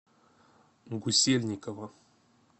гусельникова